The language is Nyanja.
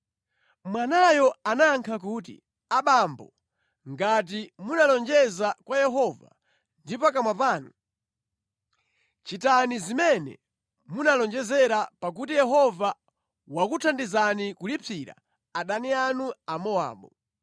Mwanayo anayankha kuti, “Abambo, ngati munalonjeza kwa Yehova ndi pakamwa panu, chitani zimene munalonjezera pakuti Yehova wakuthandizani kulipsira adani anu Amowabu.”